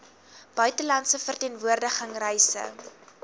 buitelandse verteenwoordiging reise